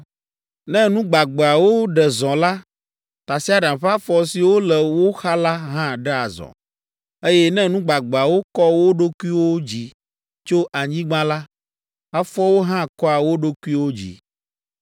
Ne nu gbagbeawo ɖe zɔ la, tasiaɖam ƒe afɔ siwo le wo xa la hã ɖea zɔ, eye ne nu gbagbeawo kɔ wo ɖokuiwo dzi tso anyigba la, afɔawo hã kɔa wo ɖokuiwo dzi.